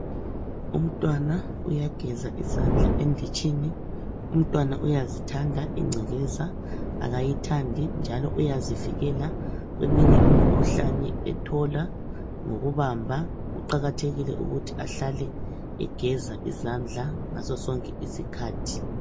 Umntwana uyageza izandla enditshini. Umntwana uyazithanda ingcekeza akayithandi njalo uyazivikela kweminye imikhuhlane etholakala ngokubamba. Kuqakathekile ukuthi ehlale egeza izandla ngaso sonke isikhathi.